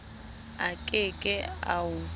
a ke ke a o